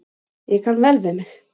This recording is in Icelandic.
Ég kann vel við mig.